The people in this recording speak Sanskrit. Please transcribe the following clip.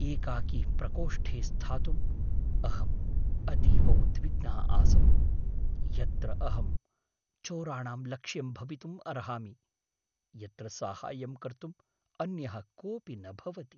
एकाकी प्रकोष्ठे स्थातुम् अहम् अतीव उद्विग्नः आसं, यत्र अहं चोराणां लक्ष्यं भवितुम् अर्हामि, यत्र साहाय्यं कर्तुम् अन्यः कोऽपि न भवति।